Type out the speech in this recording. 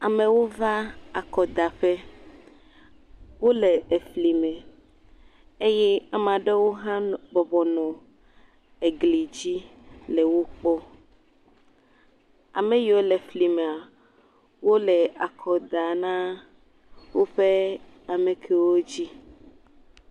Amewo va akɔdaƒe. wo le efli me eye ame aɖewo hã bɔbɔnɔ egli dzi le wo kpɔm. ame yiwo le fli mea wo le akɔ da na woƒe amekewo wo dzi.